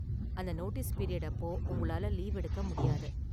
அந்த notice period அப்போ, உங்களால லீவு எடுக்க முடியாது.